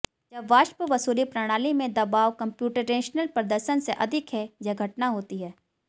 जब वाष्प वसूली प्रणाली में दबाव कम्प्यूटेशनल प्रदर्शन से अधिक है यह घटना होती है